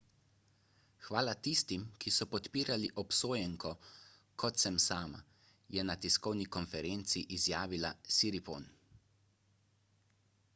hvala tistim ki so podpirali obsojenko kot sem sama je na tiskovni konferenci izjavila siriporn